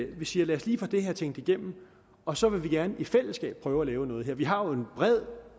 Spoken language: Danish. vi siger lad os lige få det her tænkt igennem og så vil vi gerne i fællesskab prøve at lave noget her vi har folketing en bred